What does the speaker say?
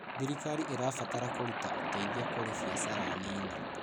Thirikari ĩrabatara kũruta ũteithio kũrĩ biacara nini.